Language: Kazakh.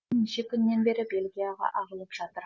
неше күннен бері бельгияға ағылып жатыр